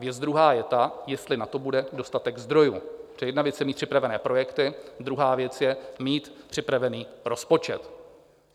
Věc druhá je ta, jestli na to bude dostatek zdrojů, protože jedna věc je, mít připravené projekty, druhá věc je, mít připravený rozpočet.